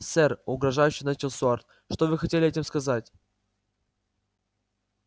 сэр угрожающе начал стюарт что вы хотели этим сказать